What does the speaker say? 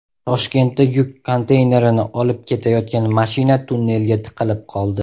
Toshkentda yuk konteynerini olib ketayotgan mashina tunnelga tiqilib qoldi.